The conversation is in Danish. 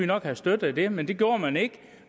nok have støttet det men det gjorde man ikke